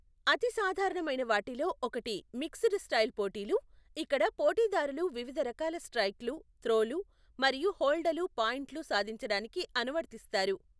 అతి సాధారణమైన వాటిల్లో ఒకటి మిక్స్డ్ స్టైల్ పోటీలు, ఇక్కడ పోటీదారులు వివిధ రకాల స్ట్రైక్లు, త్రోలు, మరియు హోల్డలు పాయింట్లు సాధించడానికి అనువర్తిస్తారు .